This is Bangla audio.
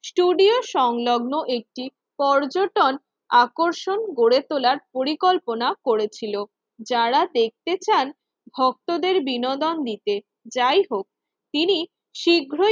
ষ্টুডিও সংলগ্ন একটি পর্যটন আকর্ষণ গড়ে তোলার পরিকল্পনা করেছিল। যারা দেখতে চান ভক্তদের বিনোদন দিতে যাই হোক তিনি শীঘ্রই